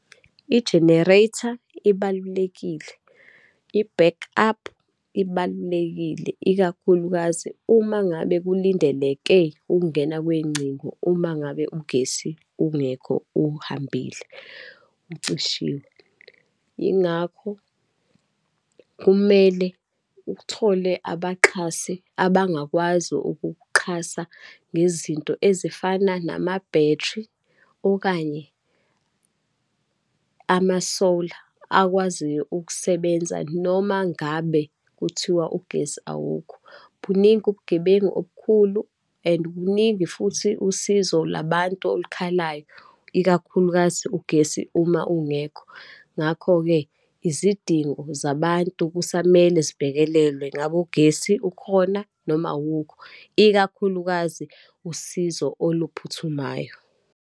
I-generator ibalulekile, i-back up ibalulekile, ikakhulukazi uma ngabe kulindeleke ukungena kwey'ngcingo uma ngabe ugesi ungekho, uhambile, ucishile Yingakho kumele uthole abaxhasi abangakwazi ukukuxhasa ngezinto ezifana nama-battery, okanye ama-solar, akwaziyo ukusebenza noma ngabe kuthiwa ugesi awukho. Buningi ubugebengu obukhulu and buningi futhi usizo labantu olukhalayo, ikakhulukazi ugesi uma ungekho. Ngakho-ke, izidingo zabantu kusamele zibhekelelwe ngabe ugesi ukhona, noma awukho, ikakhulukazi usizo oluphuthumayo.